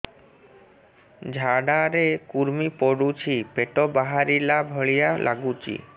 ଝାଡା ରେ କୁର୍ମି ପଡୁଛି ପେଟ ବାହାରିଲା ଭଳିଆ ଲାଗୁଚି